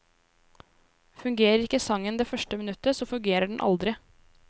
Fungerer ikke sangen det første minuttet, så fungerer den aldri.